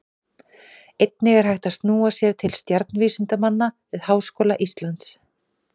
Einnig er hægt að snúa sér til stjarnvísindamanna við Háskóla Íslands.